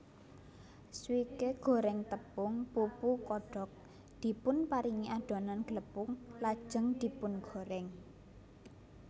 Swike goreng tepung pupu kodok dipunparingi adonan glepung lajeng dipungorèng